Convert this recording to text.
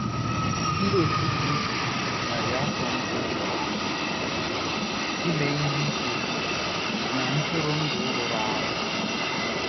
Ndị Otú Kristi narị afọ mbụ jụrụ ime ihe ike na ntụrụndụ rụrụ arụ